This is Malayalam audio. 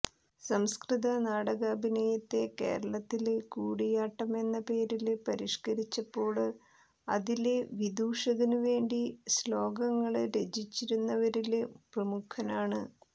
സംസ്കൃത നാടകാഭിനയത്തെ കേരളത്തില് കൂടിയാട്ടമെന്ന പേരില് പരിഷ്ക്കരിച്ചപ്പോള് അതിലെ വിദൂഷകനുവേണ്ടി ശേ്ളാകങ്ങള് രചിച്ചിരുന്നവരില് പ്രമുഖനാണ്